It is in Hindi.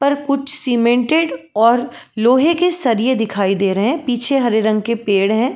पर कुछ सीमेंटेड और लोहे के सरिये दिखाई दे रहे है पीछे हरे रंग के पेड़ है।